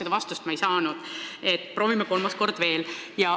Seda vastust ma ei saanud, proovime kolmas kord veel.